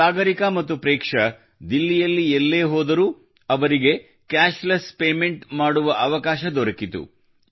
ಸಾಗರಿಕಾ ಮತ್ತು ಪ್ರೇಕ್ಷಾ ದಿಲ್ಲಿಯಲ್ಲಿ ಎಲ್ಲೇ ಹೋದರು ಅವರಿಗೆ ಕ್ಯಾಶ್ಲೆಸ್ ಪೇಮೆಂಟ್ ಮಾಡುವ ಅವಕಾಶ ದೊರಕಿತು